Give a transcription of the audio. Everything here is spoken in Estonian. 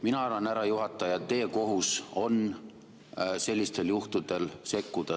Mina arvan, härra juhataja, et teie kohus on sellistel juhtudel sekkuda.